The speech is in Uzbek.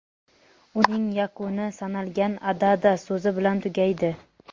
uning yakuni "sanalgan" (adada) so‘zi bilan tugaydi.